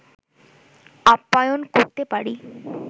আপ্যায়ন করতে পারি